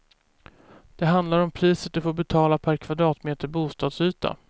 Det handlar om priset du får betala per kvadratmeter bostadsyta.